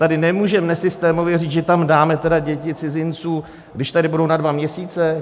Tady nemůžeme nesystémově říct, že tam tedy dáme děti cizinců, když tady budou na dva měsíce.